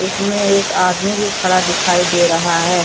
इसमें एक आदमी भी खड़ा दिखाई दे रहा है।